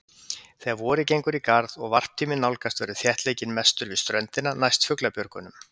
Þegar vorið gengur í garð og varptíminn nálgast verður þéttleikinn mestur við ströndina, næst fuglabjörgunum.